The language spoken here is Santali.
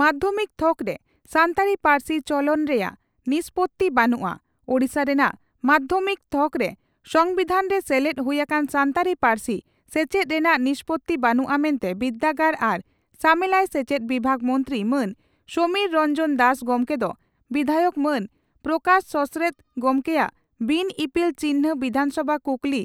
ᱢᱟᱫᱷᱭᱚᱢᱤᱠ ᱛᱷᱚᱠᱨᱮ ᱥᱟᱱᱛᱟᱲᱤ ᱯᱟᱹᱨᱥᱤ ᱪᱚᱞᱚᱱ ᱨᱮᱱᱟᱜ ᱱᱤᱥᱯᱳᱛᱤ ᱵᱟᱹᱱᱩᱜᱼᱟ ᱳᱰᱤᱥᱟ ᱨᱮᱱᱟᱜ ᱢᱟᱫᱷᱭᱚᱢᱤᱠ ᱛᱦᱚᱠᱨᱮ ᱥᱚᱢᱵᱤᱫᱷᱟᱱ ᱨᱮ ᱥᱮᱞᱮᱫ ᱦᱩᱭ ᱟᱠᱟᱱ ᱥᱟᱱᱛᱟᱲᱤ ᱯᱟᱹᱨᱥᱤ ᱥᱮᱪᱮᱫ ᱨᱮᱱᱟᱜ ᱱᱤᱥᱯᱳᱛᱤ ᱵᱟᱹᱱᱩᱜᱼᱟ ᱢᱮᱱᱛᱮ ᱵᱤᱨᱫᱟᱹᱜᱟᱲ ᱟᱨ ᱥᱟᱢᱮᱞᱟᱭ ᱥᱮᱪᱮᱫ ᱵᱤᱵᱷᱟᱜ ᱢᱚᱱᱛᱨᱤ ᱢᱟᱱ ᱥᱚᱢᱤᱨ ᱨᱚᱱᱡᱚᱱ ᱫᱟᱥ ᱜᱚᱢᱠᱮ ᱫᱚ ᱵᱤᱫᱷᱟᱭᱚᱠ ᱢᱟᱱ ᱯᱨᱚᱠᱟᱥ ᱥᱚᱥᱨᱮᱱ ᱜᱚᱢᱠᱮᱭᱟᱜ ᱵᱤᱱ ᱤᱯᱤᱞ ᱪᱤᱱᱦᱟᱹ ᱵᱤᱫᱷᱟᱱᱥᱚᱵᱷᱟ ᱠᱩᱠᱞᱤ